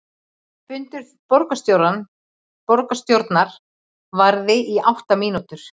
Fundur borgarstjórnar varði í átta mínútur